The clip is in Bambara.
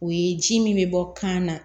O ye ji min bɛ bɔ kan na